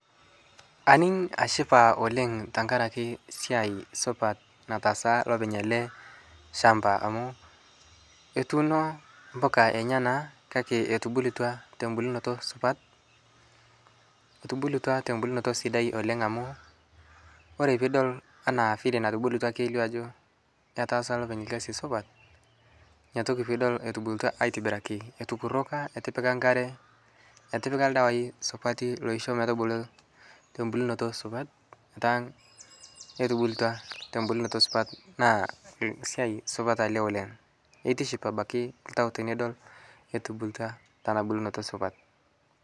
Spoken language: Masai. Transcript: aning ashipaa oleng tankarakee siai supat nataasa lopeny alee shampaa amu etuuno mpukaa enyanaa kakee etubulutwaa tombulunutoo supat etubulutwa tembulunotoo sidai amu kore piidol anaa vile natubulutwa keilio ajoo ketaasa lopeny lkazii supat inia toki piidol rtubulutwa aitibiraki etukuroka etipika nkaree etipika ldawai supatii loishoo metubuluu tombulnotoo supat etaa etubultua tembulnotoo supat naa siai supat alee oleng keitiship abakii ltau tinidol etubulutua tanaa bulnoto supat